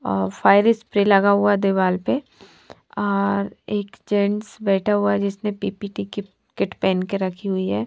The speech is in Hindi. अ फ्राईस प्री लगा हुआ दीवार पर और एक जेन्स बेठा हुआ है जिसने पि_पि_टी_के किट पेंक के रखी हुई है ।